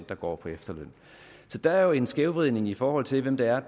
der går på efterløn så der er jo en skævvridning i forhold til hvem der